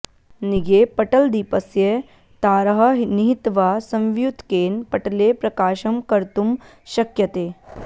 निगे पटलदीपस्य तारः निहित्वा संवियुत्केन पटले प्रकाशम् कर्तुम् शक्यते